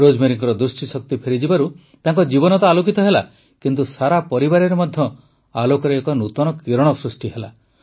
ରୋଜମେରୀଙ୍କ ଦୃଷ୍ଟିଶକ୍ତି ଫେରିଯିବାରୁ ତାଙ୍କ ଜୀବନ ତ ଆଲୋକିତ ହେଲା କିନ୍ତୁ ସାରା ପରିବାରରେ ମଧ୍ୟ ଆଲୋକର ଏକ ନୂତନ କିରଣ ସୃଷ୍ଟି ହେଲା